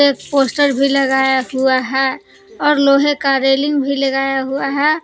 Poster भी लगाया हुआ है और लोहे का रेलिंग भी लगाया हुआ है।